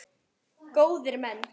Góðir menn!